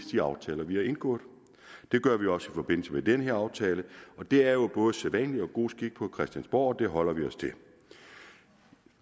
de aftaler vi har indgået det gør vi også i forbindelse med den her aftale og det er jo både sædvanlig og god skik på christiansborg og det holder vi os til